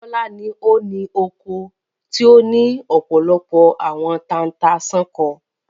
Bọ́lá ni ó loko tí ó ní ọ̀pọ̀lọpọ̀ àwọn tata-n-sánkọ.